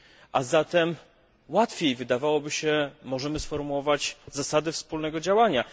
A zatem łatwiej wydawałoby się możemy sformułować zasady wspólnego działania.